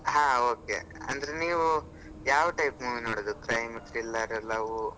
ಹಾ okay ಅಂದ್ರೆ ನೀವ್ ಯಾವ್ type movie ನೋಡೋದು, crime thriller love ?